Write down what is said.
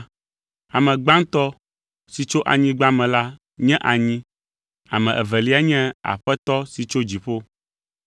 Ame gbãtɔ si tso anyigba me la nye anyi, ame evelia nye Aƒetɔ si tso dziƒo.